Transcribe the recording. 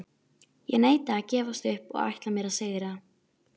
Guð, ekki gæti ég orðið skotin í honum.